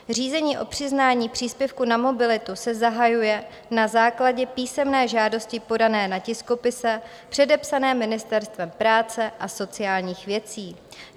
Řízení o přiznání příspěvku na mobilitu se zahajuje na základě písemné žádosti podané na tiskopise předepsaném Ministerstvem práce a sociálních věcí.